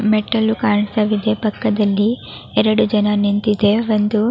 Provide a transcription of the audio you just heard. ಮೆಟ್ಟಿಲು ಕಾಣಿಸುತ್ತಿದೆ ಪಕ್ಕದಲ್ಲಿ ಎರಡು ಜನ ನಿಂತಿದೆ ಒಂದು --